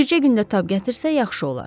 Bircə gündə tab gətirsə, yaxşı olar.